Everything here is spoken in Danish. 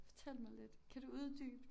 Fortæl mig lidt kan du uddybe